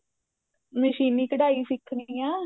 ਮਸ਼ੀਨੀ ਕਢਾਈ ਸਿੱਖਣੀ ਆ